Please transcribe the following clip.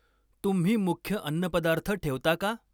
तुम्ही मुख्य अन्नपदार्थ ठेवता का?